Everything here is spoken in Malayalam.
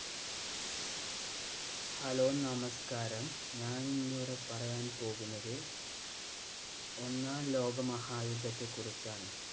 hello, നമസ്കാരം. ഞാൻ ഇന്നിവിടെ പറയാന്‍ പോകുന്നത് ഒന്നാം ലോകമഹായുദ്ധത്തെ കുറിച്ചാണ്.